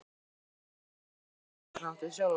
Þetta var skrítin sjón, segi ég stundarhátt við sjálfa mig.